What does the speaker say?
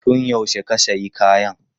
Tun yaushe ka sayi kayan?